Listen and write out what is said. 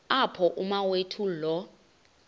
apho umawethu lo